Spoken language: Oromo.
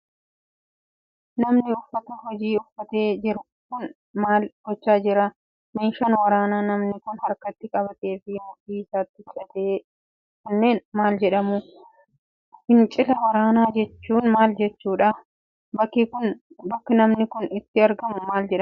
Namni uffata hojii uffate jiru kun, maal gochaa jira? Meeshaan waraanaa namni kun harkatti qabatee fi mudhii isaatti hidhate kunnneen ,maal jedhamu? Fincila waraanaa jechuunmaal jechuudha? Bakki namni kun itti argamu, maal jedhama?